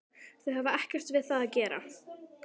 Þau hafa ekkert við það að gera